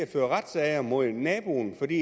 føre retssager mod naboen fordi